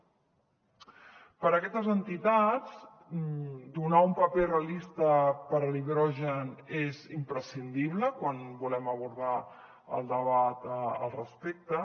per a aquestes entitats donar un paper realista per a l’hidrogen és imprescindible quan volem abordar el debat al respecte